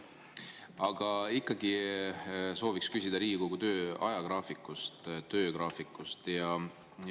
Sooviks ikkagi küsida Riigikogu töö ajagraafiku, töögraafiku kohta.